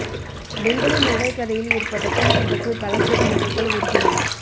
பெங்களூர் நகைக்கடையில் ஏற்பட்ட தீ விபத்தில் பல கோடி நகைகள் உருகின